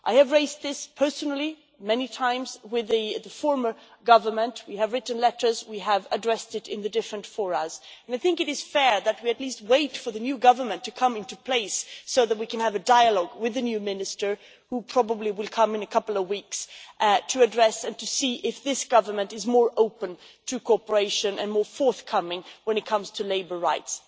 I have raised this personally many times with the former government. We have written letters and we have addressed it in the different fora. I think it is fair that we at least wait for the new government to come into place so that we can have a dialogue with the new minister, who will probably come in a couple of weeks, to address this and to see if this government is more open to cooperation and more forthcoming when it comes to labour rights.